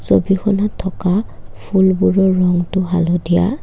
ছবিখনত থকা ফুলবোৰৰ ৰংটো হালধীয়া।